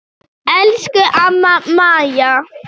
Elsku amma Maja.